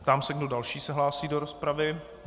Ptám se, kdo další se hlásí do rozpravy.